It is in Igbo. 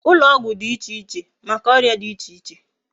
Ulo ogwu di iche iche Maka oria di iche iche